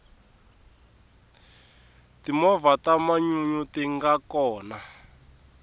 timovha ta manyunyu tinga kona